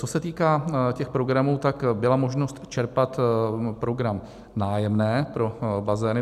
Co se týká těch programů, tak byla možnost čerpat program Nájemné pro bazény.